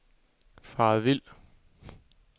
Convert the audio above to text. faret vild